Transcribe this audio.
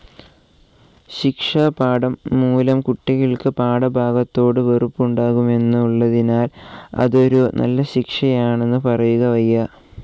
ശിക്ഷാപാഠം മൂലം കുട്ടികൾക്ക് പാഠഭാഗത്തോടു വെറുപ്പുണ്ടാകുമെന്നുള്ളതിനാൽ അതൊരു നല്ല ശിക്ഷയാണെന്ന് പറയുക വയ്യ.